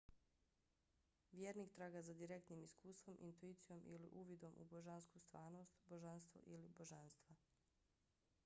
vjernik traga za direktnim iskustvom intuicijom ili uvidom u božansku stvarnost/božanstvo ili božanstva